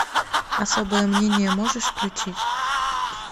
особое мнение можешь включить